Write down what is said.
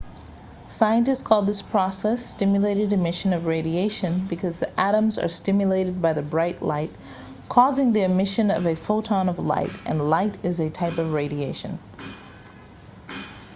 scientists call this process stimulated emission of radiation because the atoms are stimulated by the bright light causing the emission of a photon of light and light is a type of radiation